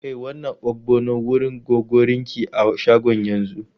Kai wannan ogbono wurin Gogorinki a shagon yanzu!